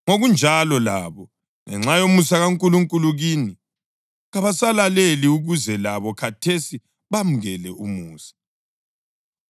ngokunjalo labo, ngenxa yomusa kaNkulunkulu kini, kabasalaleli ukuze labo khathesi bamukele umusa.